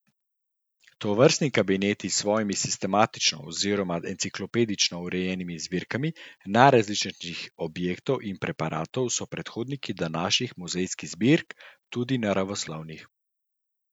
Tovrstni kabineti s svojimi sistematično oziroma enciklopedično urejenimi zbirkami najrazličnejših objektov in preparatov so predhodniki današnjih muzejskih zbirk, tudi naravoslovnih.